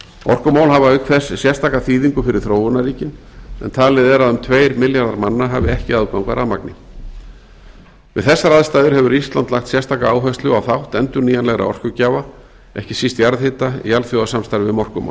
orkumál hafa auk þess sérstaka þýðingu fyrir þróunarríkin en talið er að um tveir milljarðar manna hafi ekki aðgang að rafmagni við þessar aðstæður hefur ísland lagt sérstaka áherslu á þátt endurnýjanlegra orkugjafa ekki síst jarðhita í alþjóðasamstarfi um orkumál